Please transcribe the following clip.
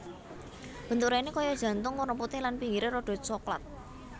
Bentuk raine kaya jantung werna putih lan pinggire rada soklat